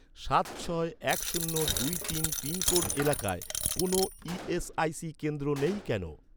সাত ছয় এক শূন্য দুই তিন পিনকোড এলাকায়, কোনও ই.এস.আই.সি কেন্দ্র নেই কেন?